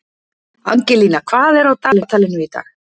Angelína, hvað er á dagatalinu í dag?